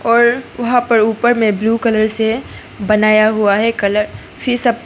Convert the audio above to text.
वहां पर ऊपर में ब्लू कलर से बनाया हुआ है कलर --